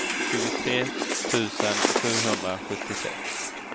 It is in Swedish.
tjugotre tusen sjuhundrasjuttiosex